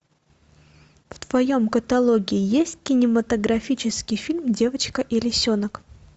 в твоем каталоге есть кинематографический фильм девочка и лисенок